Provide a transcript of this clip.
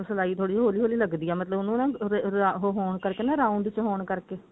ਮਤਲਬ ਸਿਲਾਈ ਥੋੜੀ ਜੀ ਹੋਲੀ ਹੋਲੀ ਲੱਗਦੀ ਹੈ ਮਤਲਬ ਉਹਨੂੰ ਨਾ ਉਹਦੇ ਹੋਣ ਕਰਕੇ round ਚ ਹੋਣ ਕਰਕੇ